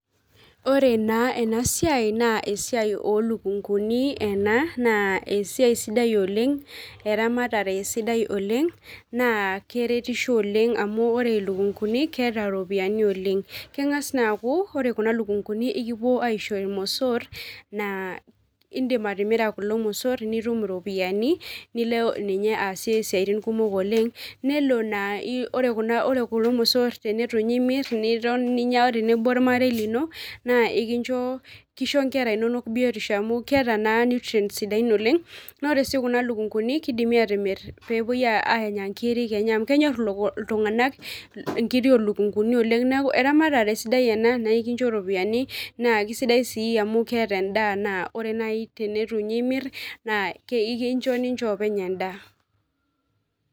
Ore na enasiai na esiai olukunguni ena na esiai sidai oleng , eramatare sidai oleng na keretisho oleng amu ore lukunguni keeta ropiyani oleng kengas naa aku ore kuna lukunguni ekipuo aisho irmosor na indim atimira kulo mosor nitum iropiyani nilo ninye aasie siatin kumok oleng nelo na ore kulo mosor tenitunye imir niton ninya tenebo ormarei linona kishobnkera inonok biotisho amu keeta na nutrients sidain olengna ore si kuna lukunguni kidimi atimir pepuoi anya nkirk enye amu kenyor ltunganak nkirik olukunguni oleng neakueramatare sidai ena na ekincho ropiyani sidai si amu keeta endaa na ore nai tenitu nche imir na ekincho endaa .